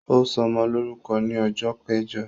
Ó ṣọmọ lórúkọ ni ọjọ́ kẹjọ